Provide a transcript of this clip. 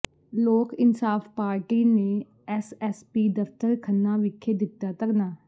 ਲੋਕ ਇਨਸਾਫ਼ ਪਾਰਟੀ ਨੇ ਐੱਸਐੱਸਪੀ ਦਫ਼ਤਰ ਖੰਨਾ ਵਿਖੇ ਦਿੱਤਾ ਧਰਨਾ